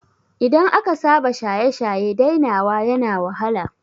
Idan aka saba shaye-shaye dainawa yana wahala